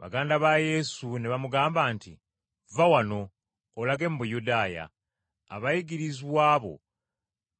Baganda ba Yesu ne bamugamba nti, “Vva wano, olage mu Buyudaaya, abayigirizwa bo